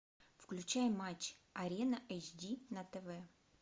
включай матч арена эйч ди на тв